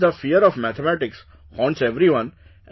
Because the fear of mathematics haunts everyone